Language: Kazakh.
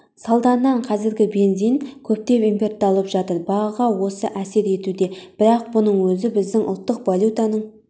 салдарынан қазір бензин көптеп импортталып жатыр бағаға осы әсер етуде бірақ бұның өзі біздің ұлттық валютаның